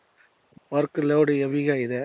work load heavy ಇದೆ.